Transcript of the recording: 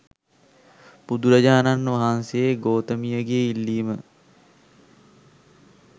බුදුරජාණන් වහන්සේ ගෝතමිය ගේ ඉල්ලීම